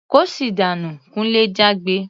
"Kóṣì dànú!" Kunle jágbe.